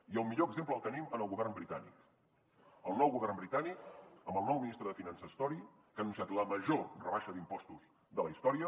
i el millor exemple el tenim en el govern britànic el nou govern britànic amb el nou ministre de finances tory que ha anunciat la major rebaixa d’impostos de la història